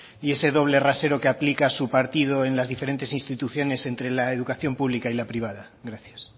y ese doble rasero que aplica su partido en las diferentes instituciones entre la educación pública y la privada gracias